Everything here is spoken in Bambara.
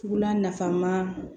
Tula nafan ma